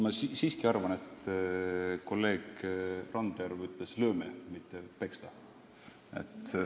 Ma siiski nendin, et kolleeg Randjärv ütles "lööme", mitte "peksame", nii et ...